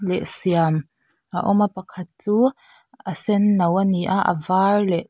leh siam a awm a pakhat chu a senno a ni a a var leh--